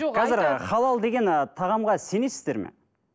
қазір халал деген ы тағамға сенесіздер ме